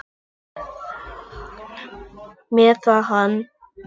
Meiða hana.